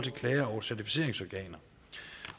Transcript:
klager over certificeringsorganer